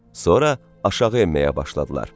Sonra aşağı enməyə başladılar.